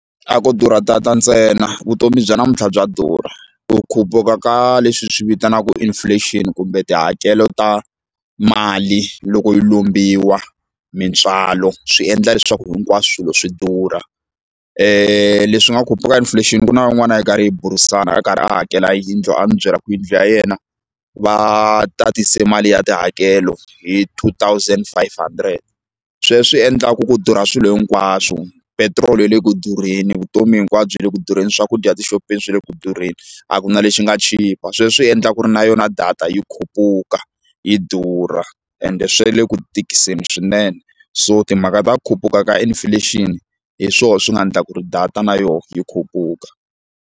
A ko durha tata ntsena vutomi bya namuntlha bya durha ku khupuka ka leswi hi swi vitanaku inflation kumbe tihakelo ta mali loko yi lombiwa mintswalo swi endla leswaku hinkwaswo swilo swi durha leswi nga khupuka inflation ku na van'wana a hi karhi hi burisana a karhi a hakela yindlu a ni byela ku yindlu ya yena va tatise mali ya tihakelo hi two thousand five hundred sweswi endlaku ku durha swilo hinkwaswo petiroli yi le ku durheni vutomi hinkwabyo byi le ku durheni swakudya etixopeni swi le ku durheni a ku na lexi nga chipa sweswo swi endlaka ku ri na yona data yi khupuka yi durha ende swe le ku tikiseni swinene so timhaka ta khupuka ka inflation hi swona swi nga endla ku ri data na yoho yi khupuka.